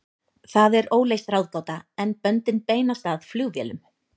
Það er óleyst ráðgáta, en böndin beinast að flugvélum.